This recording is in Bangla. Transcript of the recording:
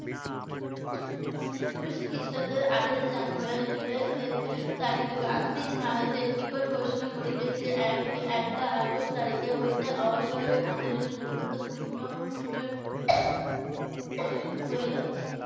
উনিশশো খ্রিস্টাব্দ এর আটাশে জানু জুলাই এর তারিখে গান্ধীজি ভারতের নিকট ঘোষণা করিলেন যে এক একলা আগস্ট তারিখ হইতে অসহযোগ আন্দোলন গুরুত্বপূর্ণ পূর্ণ হইলো।